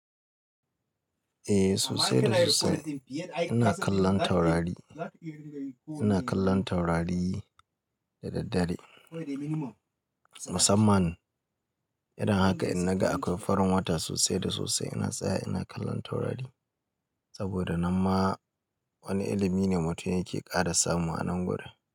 Eh sosai da sosai. Ina kallon taurari, ina kallon taurari da daddare. Musamman irin haka idan naga akwai farin wata haka ina kallon taurari saboda nan ma wani ilimi ne mutum yake ƙara samu a nan gurin.